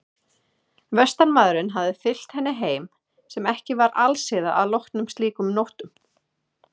Vestanmaðurinn hafði fylgt henni heim sem ekki var alsiða að loknum slíkum nóttum.